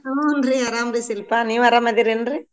ಹೂನ್ರಿ ಆರಾಮ್ರೀ ಶಿಲ್ಪಾ ನೀವ್ ಆರಾಮದಿರದಿರೇನ್ರಿ?